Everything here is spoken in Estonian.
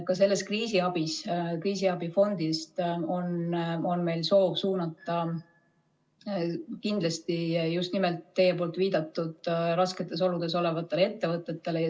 Ka sellest kriisiabifondist on meil soov suunata abi kindlasti just nimelt teie viidatud rasketes oludes olevatele ettevõtetele.